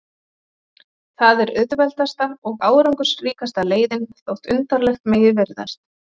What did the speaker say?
Það er auðveldasta og árangursríkasta leiðin, þótt undarlegt megi virðast.